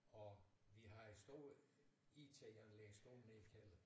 Og vi har et stort IT anlæg stående nede i kælderen